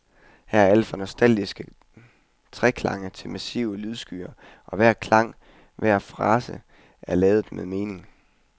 Her er alt fra nostalgiske treklange til massive lydskyer, og hver klang, hver frase er ladet med mening.